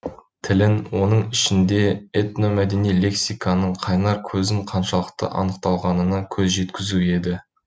тілін оның ішінде этномәдени лексиканың қайнар көзін қаншалықты анықталғанына көз жеткізу еді